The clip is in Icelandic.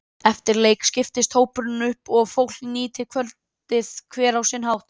Eftir leik skiptist hópurinn upp og fólk nýtti kvöldið hver á sinn hátt.